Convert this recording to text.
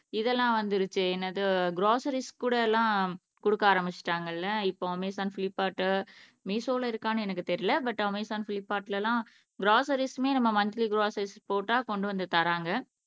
இதெல்லாம் வந்துருச்சு என்னது க்ராஸ்ஸரீஸ் கூட எல்லாம் குடுக்க ஆரம்பிச்சுட்டாங்கல்ல இப்போ அமேசான் ஃப்லிப்கார்ட்டு மீஷோல இருக்கானு எனக்கு தெரில பட் அமேசான் ஃப்லிப்கார்ட்ல எல்லாம் க்ராஸ்ஸரீஸ்மே நம்ம மந்த்லி க்ராஸ்ஸரீஸ் போட்டா கொண்டு வந்து தர்றாங்க